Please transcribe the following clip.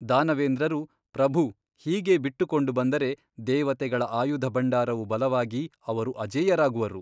ದಾನವೇಂದ್ರರು ಪ್ರಭು ಹೀಗೇ ಬಿಟ್ಟುಕೊಂಡು ಬಂದರೆ ದೇವತೆಗಳ ಆಯುಧಭಂಡಾರವು ಬಲವಾಗಿ ಅವರು ಅಜೇಯರಾಗುವರು.